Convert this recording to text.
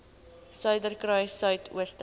suiderkruissuidooster